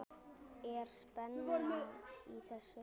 Er spenna í þessu?